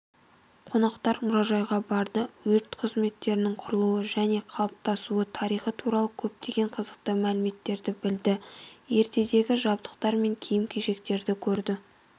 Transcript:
қонақтар мұражайға барды өрт қызметінің құрылуы және қалыптасуы тарихы туралы көптеген қызықты мәліметтерді білді ертедегі жабдықтар мен киім-кешектерді көрді